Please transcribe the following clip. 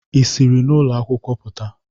Ị siri n'ụlọ akwụkwọ pụta?